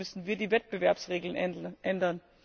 Deshalb müssen wir die Wettbewerbsregeln ändern.